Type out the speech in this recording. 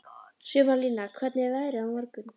Sumarlína, hvernig er veðrið á morgun?